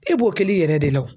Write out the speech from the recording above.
E b'o kɛl'i yɛrɛ de la wo.